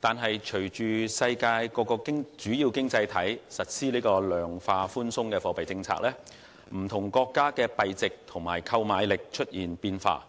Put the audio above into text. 然而，隨着世界各地主要經濟體實施量化寬鬆貨幣政策，不同國家的幣值及購買力出現變化，